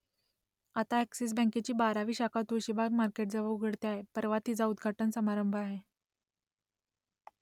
आता अ‍ॅक्सिस बँकेची बारावी शाखा तुळशीबाग मार्केटजवळ उघडते आहे , परवा तिचा उद्घाटन समारंभ आहे